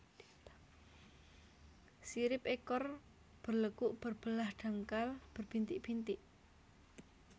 Sirip ekor berlekuk berbelah dangkal berbintik bintik